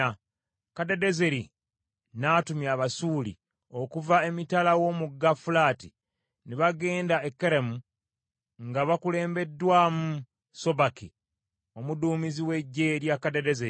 Kadadezeri n’atumya Abasuuli okuva emitala w’Omugga Fulaati, ne bagenda e Keramu nga bakulembeddwamu Sobaki omuduumizi w’eggye lya Kadadezeri.